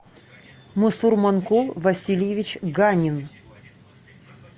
мусурманкул васильевич ганин